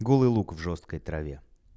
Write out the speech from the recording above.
голый лук в жёсткой траве